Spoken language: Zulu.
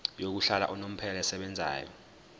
yokuhlala unomphela esebenzayo